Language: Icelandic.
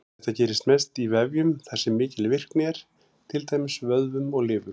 Þetta gerist mest í vefjum þar sem mikil virkni er, til dæmis vöðvum og lifur.